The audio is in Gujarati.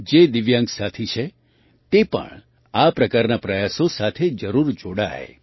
જે દિવ્યાંગ સાથી છે તે પણ આ પ્રકારના પ્રયાસો સાથે જરૂર જોડાય